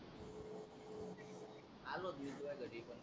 आलोच घेऊन तुया घरी पण